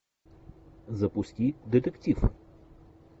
запусти детектив